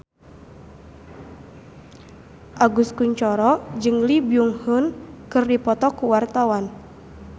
Agus Kuncoro jeung Lee Byung Hun keur dipoto ku wartawan